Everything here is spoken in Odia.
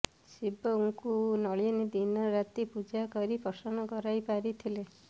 ଶିବଙ୍କୁ ନଳିନୀ ଦିନ ରାତି ପୂଜା କରି ପ୍ରସନ୍ନ କରାଇ ପାରିଥିଲେ